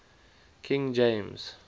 king james